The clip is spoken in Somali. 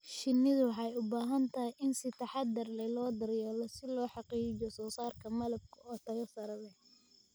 Shinnidu waxay u baahan tahay in si taxadar leh loo daryeelo si loo xaqiijiyo soosaarka malabka oo tayo sare leh.